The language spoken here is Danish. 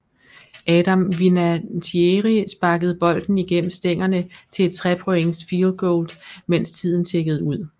Adam Vinatieri sparkede bolden igennem stængerne til et 3 points fieldgoal mens tiden tikkede ud